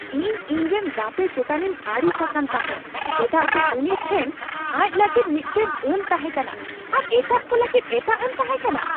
ᱤᱧ ᱤᱧᱨᱮᱱ ᱜᱟᱛᱮ ᱪᱮᱛᱟᱱᱤᱧ ᱟᱹᱲᱤᱥ ᱟᱠᱟᱱ ᱛᱟᱦᱮᱸᱜ ᱪᱮᱫᱟᱜ ᱥᱮ ᱩᱱᱤ ᱴᱷᱮᱱ ᱟᱡᱽ ᱞᱟᱹᱜᱤᱫ ᱢᱤᱫᱴᱟᱝ ᱟᱹᱱ ᱛᱟᱦᱮᱸᱠᱟᱱᱟ ᱟᱨ ᱮᱴᱟᱜ ᱠᱚ ᱞᱟᱹᱜᱤᱫ ᱮᱴᱟᱜ ᱟᱹᱱ ᱛᱟᱦᱮᱸ ᱠᱟᱱᱟ ᱾